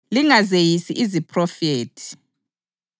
kodwa zihloleni zonke; libambelele kokulungileyo,